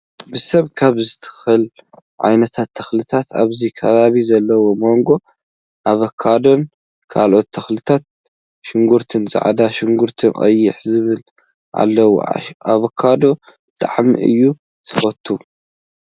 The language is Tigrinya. ብሰብ ካብ ዝትክሉ ዓይነታት ተክሊታት ኣብዚ ከባቢ ዘለው ማንጎ ፣ ኣቫካዶን፣ ካልኦት ተኽሊታት፣ ሽጉርቲ ፃዕዳ፣ ሽጉርቲ ቀይሕ ዝበሉ ኣለው። ኣቫካዶ ብጣዕሚ እየ ዝፈትው።